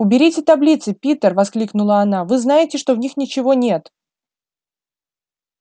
уберите таблицы питер воскликнула она вы знаете что в них ничего нет